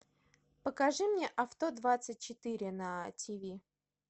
покажи мне авто двадцать четыре на тв